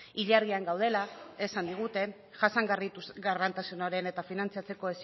ilargian gaudela esan digute jasangarritasunaren eta finantzatzeko